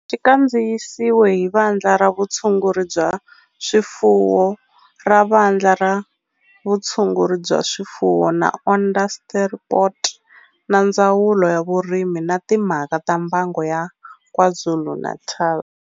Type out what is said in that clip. Xi kandziyisiwe hi Vandla ra Vutshunguri bya swifuwo ra Vandla ra Vutshunguri bya swifuwo ra Onderstepoort na Ndzawulo ya Vurimi na Timhaka ta Mbango ya KwaZulu-Natal.